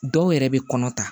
Dɔw yɛrɛ bɛ kɔnɔ ta